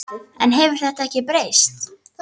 En hefur þetta ekki breyst?